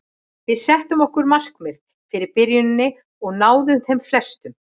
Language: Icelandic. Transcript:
Við settum okkur markmið fyrir byrjunina og náðum þeim flestum.